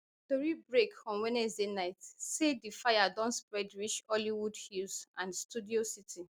tori break on wednesday night say di fire don spread reach hollywood hills and studio city